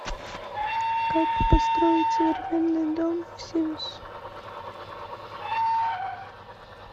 как построить современный дом в симс